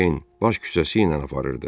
Skakuein baş küçəsi ilə aparırdı.